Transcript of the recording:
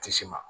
Kisi ma